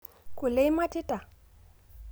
Kule imatita?